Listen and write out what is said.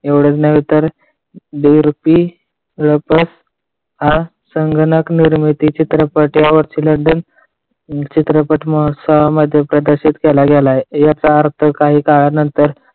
एवढेच नव्हे, तर देवरूपी संगणक निर्मिती चित्रपट यावरची london चित्रपट महोत्सवामध्ये प्रदर्शित केला गेलेला आहे. याचा अर्थ काही काळानंतर